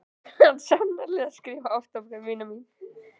Þú kant sannarlega að skrifa ástarbréf, vina mín.